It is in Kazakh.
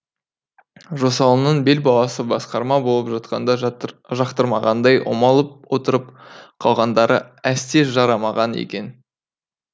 жосалының бел баласы басқарма болып жатқанда жақтырмағандай омалып отырып қалғандары әсте жарамаған екен